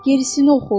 Gerisini oxu.